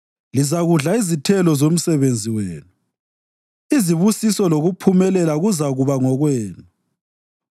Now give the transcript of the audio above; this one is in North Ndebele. Lizakudla izithelo zomsebenzi wenu; izibusiso lokuphumelela kuzakuba ngokwenu.